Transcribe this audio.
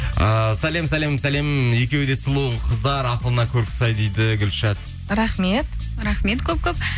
ыыы сәлем сәлем сәлем екеуі де сұлу қыздар ақылына көркі сай дейді гүлшат рахмет рахмет көп көп